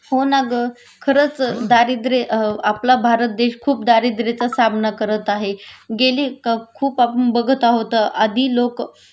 हो ना ग खरंच दारिद्र्य आपला भारत देश खूप दारिद्र्याचा सामना करत आहे.गेली खूप आपण बघत आहोत आधी लोक